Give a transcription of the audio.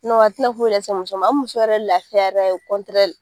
Nɔn a tina foyi lase muso ma a bi muso yɛrɛ lafiya yɛrɛ o kɔntirɛli